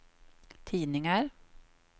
tidningar